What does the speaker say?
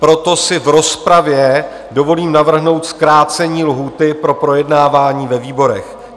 Proto si v rozpravě dovolím navrhnout zkrácení lhůty pro projednávání ve výborech.